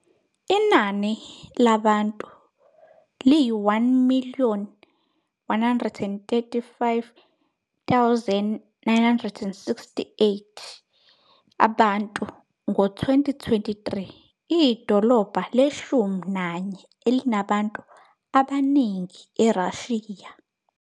Inani labantu liyi - 1 135 968 abantu, 2023, iyidolobha leshumi nanye elinabantu abaningi eRussia.